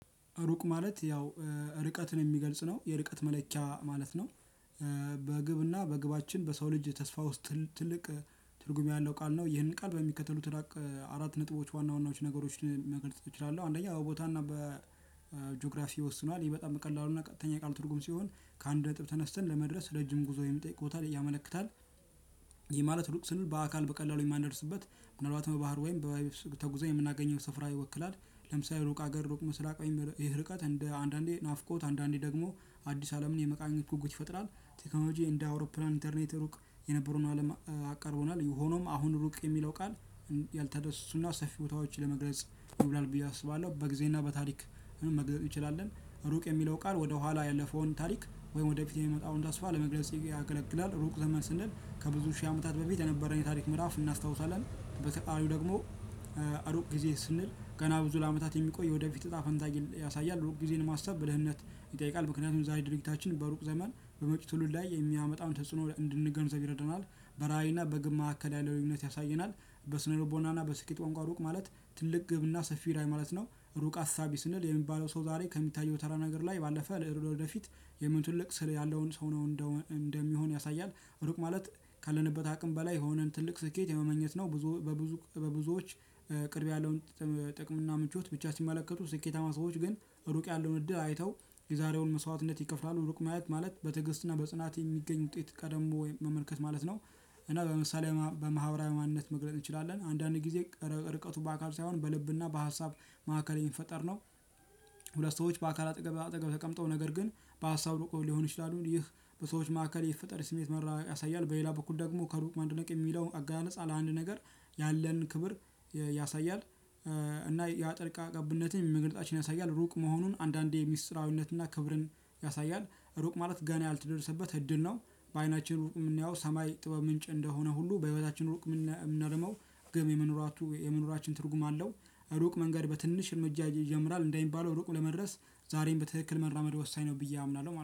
ሩቅ ማለት ያው ርቀትን የሚገልጽ ነው የርቀት መለኪያ ማለት ነው። በግብና በግባችን በሰው ልጅ ተስፋ ውስጥ ትልቅ ትርጉም ያለው ቃል ነው ይህንን ቃል በሚከተሉት አራት ነጥቦች ዋና ዋናዎች ነገሮችን መገለጽ እችላለሁ። አንደኛ ቦታና በጂኦግራፊ ይወስኗል ይህ በጣም ቀላሉና ቀጥተኛ የቃሉ ትርጉም ሲሆን ከአንድ ነጥብ ተነስተን ለመድረስ ረጅም ጉዞ የሚጠይቅ ቦታ ላይ ያመለክታል። ይህ ማለት ሩቅ ስንል በአካል በቀላሉ የማንደርስበት ምናልባት በባህር ወይም በየብስ ተጉዘን የምናገኘው ስፍራ ይወክላል። ለምሳሌ ሩቅ ሀገር ሩቅ ምስራቅ ይሄ ርቀት እንደ አንዳንዴ ናፍቆት አንዳንዴ ደግሞ አዲስ አለምን የመቃኘት ጉጉት ይፈጥራል። ቴክኖሎጂ እንደ አውሮፕላን ኢንተርኔት ሩቅ የነበሩን አለም አቅርቦናል ሆኖም አሁን ሩቅ የሚለው ቃል ያልተዳሰሱና ሰፊ ቦታዎች ለመግለጽ ይውላል ብዬ አስባለሁ። በጊዜና በታሪክ መግለጽ እንችላለን ሩቅ የሚለው ቃል ወደ ኋላ ያለፈውን ታሪክ ወይም ወደ ፊት የሚመጣውን ተስፋ ለመግለጽ ያገለግላል። ሩቅ ዘመን ስንል ከብዙ ሺህ አመታት በፊት የነበረን የታሪክ ምዕራፍ እናስታውሳለን። በተቃራኒው ደግሞ እሩቅ ጊዜ ስንል ገና ብዙ ለአመታት የሚቆይ ወደፊት እጣ ፈንታ ያሳያል። እሩቅ ጊዜን ማሰብ በደህንነት ይጠይቃል። ምክንያቱም ዛሬ ድርጊታችን በሩቅ ዘመን በመጭው ትውልድ ላይ የሚያመጣውን ተጽዕኖ እንድንገንዘብ ይረደናል። በራዕይና በግብ ማዕከል ያለው ልዩነት ያሳየናል። በስነ ልቦናና በስኬት ቋንቋ ሩቅ ማለት ትልቅ ግብና ሰፊ ራዕይ ማለት ነው። ሩቅ አሳቢ ስንል የሚባለው ሰው ዛሬ ከሚታየው ተራ ነገር ላይ ባለፈ ለዕድሜው ወደፊት የሚሆን ትልቅ ስር ያለውን ሰው ነው እንደሚሆን ያሳያል። ሩቅ ማለት ካለንበት አቅም በላይ ሆነን ትልቅ ስኬት የመመኘት ነው። ብዙ በብዙ በብዙዎች ቅርብ ያለውን ጥቅም እና ምቾት ብቻ ሲመለከቱ ስኬታማ ሰዎች ግን ሩቅ ያለውን እድል አይተው የዛሬውን መስዋዕትነት ይከፍላሉ። ሩቅ ማየት ማለት በትዕግስትና በጽናት የሚገኝ ውጤት ቀደሞ መመልከት ማለት ነው። እና በምሳሌ በማህበራዊ ማንነት መግለጽ እንችላለን አንዳንድ ጊዜ ርቀቱ በአካል ሳይሆን በልብና በሀሳብ ማዕከል የሚፈጠር ነው። ሁለት ሰዎች በአካል አጠገብ ለአጠገብ ተቀምጠው ነገር ግን በሀሳብ እርቀው ሊሆን ይችላሉ ይህ በሰዎች ማዕከል የሚፈጠር ስሜት መራራቅ ያሳያል። በሌላ በኩል ደግሞ ከሩቅ ማድነቅ የሚለውን አገላለጽ ለአንድ ነገር ያለን ክብር ያሳያል። እና የጣልቃ ገብነትን መግለፃችን ያሳያል ሩቅ መሆኑን አንዳንዴ ምስጢራዊነትና ክብርን ያሳያል። ሩቅ ማለት ገና ያልተደረሰበት እድል በአይናችን ሩቅ የምናየው ሰማይ ጥበብ ምንጭ እንደሆነ ሁሉ በህይወታችን ሩቅ የምንለው ደግሞ ገቢ የመኖራችን ትርጉም አለው። ሩቅ መንገድ በትንሽ እርምጃ ይጀምራል እንደሚባለው ሩቅ ለመድረስ ዛሬም በትክክል መራመድ ወሳኝ ነው። ብዬ አምናለሁ